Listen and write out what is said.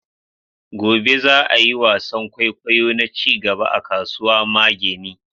gobe za'a yi wasan kwaikwayo na cigaba a kasuwa mageni